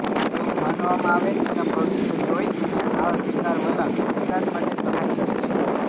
એવું માનવામાં આવે નીલમ ભવિષ્ય જોઈ અને આ અધિકાર વલણ વિકાસ માટે સહાય કરે છે